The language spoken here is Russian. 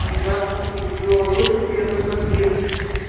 здравствуйте петрова восемь первый подъезд